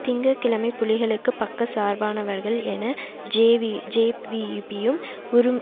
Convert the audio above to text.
திங்ககிழமை புலிகளுக்கு பக்க சார்பானவர்கள் என ஜேவி ஜேவிபியும் உறும்